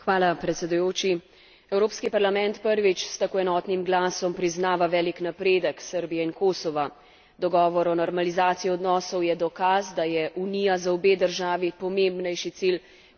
Evropski parlament prvič s tako enotnim glasom priznava velik napredek Srbije in Kosova. Dogovor o normalizaciji odnosov je dokaz, da je Unija za obe državi pomembnejši cilj kot populistična in nacionalistična retorika.